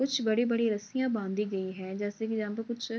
कुछ बड़ी-बड़ी रस्सियाँ बंधी गई है । जैसे की यहाँ पे कुछ --